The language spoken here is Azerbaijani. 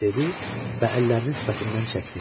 Dedi və əllərini sifətindən çəkdi.